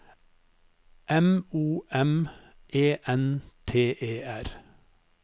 M O M E N T E R